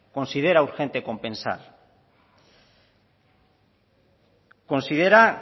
considera urgente compensar considera